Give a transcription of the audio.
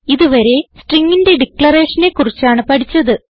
ഇതുവരെ stringന്റെ ഡിക്ലറേഷനെ കുറിച്ചാണ് പഠിച്ചത്